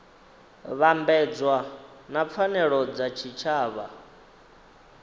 vhambedzwa na pfanelo dza tshitshavha